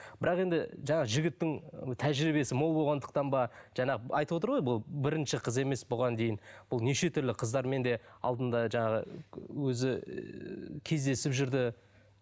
бірақ енді жаңағы жігіттің тәжірбиесі мол болғандықтан ба жаңағы айтып отыр ғой бұл бірінші қыз емес бұған дейін бұл неше түрлі қыздармен де алдында жаңағы өзі ііі кездесіп жүрді